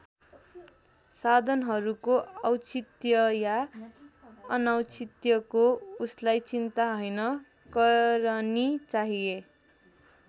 साधनहरूको औचित्य या अनौचित्यको उसलाई चिन्ता हैन करनी चाहिए।